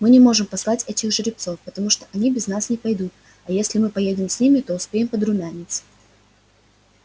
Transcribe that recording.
мы не можем послать этих жеребцов потому что они без нас не пойдут а если мы поедем с ними то успеем подрумяниться